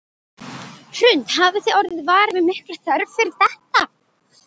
Hrund: Hafið þið orðið varir við mikla þörf fyrir þetta?